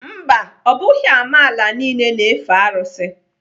Mba, ọ bụghị amaala niile na-efe arụsị.